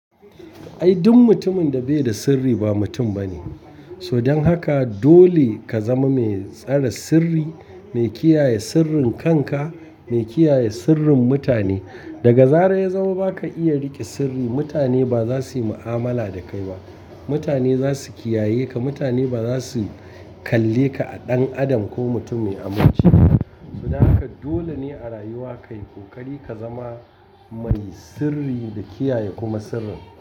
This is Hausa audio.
Ai duk mutumin da bai da sirri ba mutum bane. So dan haka dole ka zama mai tsare sirri, mai kiyaye sirrin kanka, mai kiyaye sirrin mutane. Daga zarar ya zama ba ka iya rike sirri mutane ba za su yi mu'amala da kai ba. Mutane za su kiyaye ka, mutane ba za su kalle ka a ɗan adam ko mutum mai aminci ba. Saboda haka dole ne a rayuwa ka yi kokari ka zama mai sirri da kiyaye kuma sirrin.